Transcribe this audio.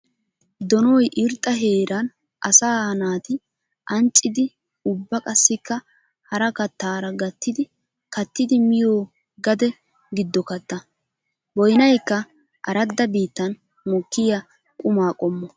Donoy irxxa heeran asaa naati ancciddi ubba qassikka hara kattara gattiddi kattiddi miyo gade gido katta. Boynnaykka aradda biittan mokiya qumma qommo.